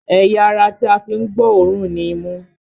Ẹ̀yà ara tí a fi ń gbọ́ òórùn ni imú